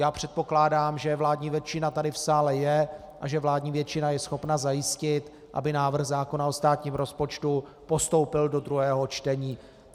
Já předpokládám, že vládní většina tady v sále je a že vládní většina je schopna zajistit, aby návrh zákona o státním rozpočtu postoupil do druhého čtení.